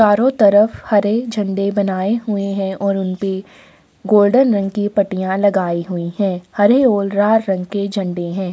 चारो तरफ हरे झंडे बनाये हुए है और उन पे गोल्डन रंग की पट्टीयां लगाई हुई है हरे और लाल रंग की झंडे है।